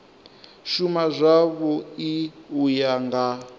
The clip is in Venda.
shuma zwavhui u ya nga